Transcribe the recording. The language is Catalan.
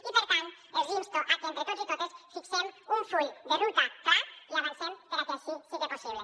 i per tant els insto a que entre tots i totes fixem un full de ruta clar i avancem perquè així sigui possible